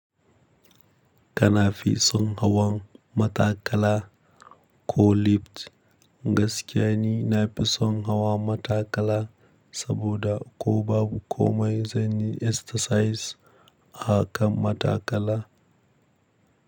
Kana fison hawan matakala ko lift, gaskiyani na fison hawan matakala saboda ko babu komai zanyi exercise a kan matakala.